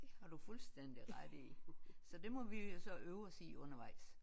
Det har du fuldstændig ret i så det må vi jo så øve os i undervejs